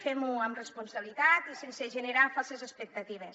fem ho amb responsabilitat i sense generar falses expectatives